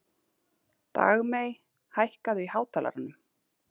Dagmey, hækkaðu í hátalaranum.